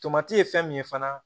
Tomati ye fɛn min ye fana